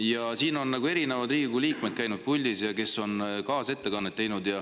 Siin puldis on käinud erinevad Riigikogu liikmed, kes on teinud kaasettekannet.